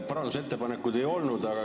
Parandusettepanekuid ei olnud.